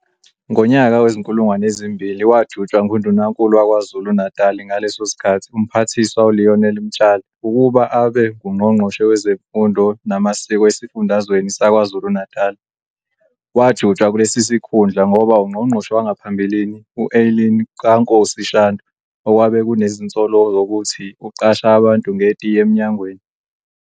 Ngonyaka we-2000 wajutshwa nguNdunaknulu wakwaZulu Natali ngaleso sikhathi uMphathiswa uLionel Mtshali ukuba abe ngungqonqoshe wezeMfundo namaSiko esifundazweni sakwaZulu Natali. Wajutshwa kulesi sikhundla ngoba ungqongqoshe wangaphambilini u-Eileen KaNkosi-Shandu okwabe kunezinsolo zokuthi uqasha abantu ngetiye emynagweni.